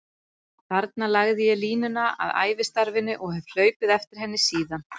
Þarna lagði ég línuna að ævistarfinu og hef hlaupið eftir henni síðan.